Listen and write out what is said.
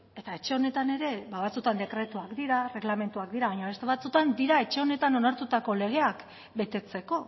eta etxe honetan ere ba batzuetan dekretuak dira erregelamenduak dira baina beste batzuetan dira etxe honetan onartutako legeak betetzeko